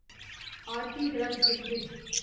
Aarti drugs limited